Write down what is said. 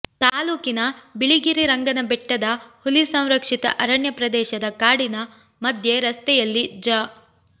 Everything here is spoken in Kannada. ತಾಲೂಕಿನ ಬಿಳಿಗಿರಿರಂಗನಬೆಟ್ಟದ ಹುಲಿ ಸಂರಕ್ಷಿತ ಅರಣ್ಯ ಪ್ರದೇಶದ ಕಾಡಿನ ಮಧ್ಯೆ ರಸ್ತೆಯಲ್ಲಿ ಜ